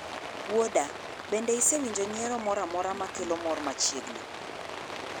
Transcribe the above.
Wuoda, bende isewinjo nyiero moro amora ma kelo mor machiegni